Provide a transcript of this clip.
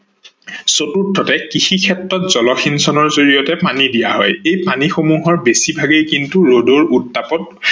চতুৰ্থতে কৃষি ক্ষেত্ৰত জল সিঞ্চনৰ জৰিয়তে পানী দিয়া হয় এই পানী ভাগৰ বেছি ভাগেই কিন্তু ৰদৰ উত্তাপত